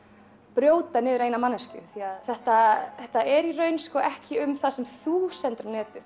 brjóta niður eina manneskju þetta þetta er í raun ekki um það sem þú setur á netið